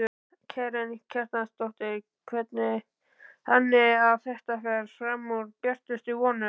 Karen Kjartansdóttir: Þannig að þetta fer fram úr björtustu vonum?